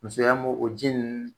Musoya m'o o ji n